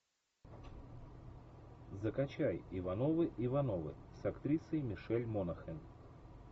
закачай ивановы ивановы с актрисой мишель монахэн